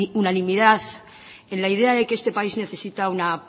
unanimidad en la idea de que este país necesita una